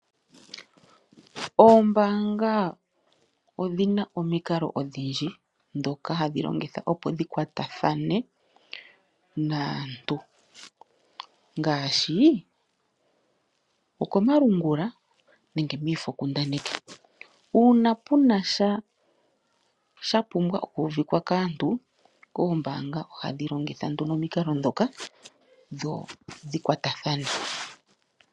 Ombaanga odhina omikalo odhindji dhoka hadhi longitha opo dhikwatathane naantu ngaashi oko malungula nenge midpoint kundaneki. Uuna puna sha shapumbwa oku uvika kaantu, oombaanga ohadhi longitha nduno omikalo dhoka dho dhi kwatathane.